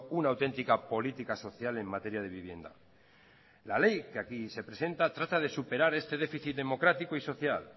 una auténtica política social en materia de vivienda la ley que aquí se presenta trata de superar este déficit democrático y social